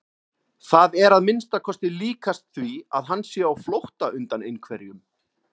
Það er að minnsta kosti líkast því að hann sé á flótta undan einhverjum.